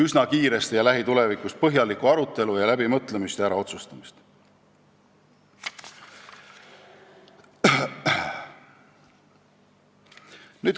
See vajab lähitulevikus kindlasti põhjalikku arutelu, läbimõtlemist ja äraotsustamist.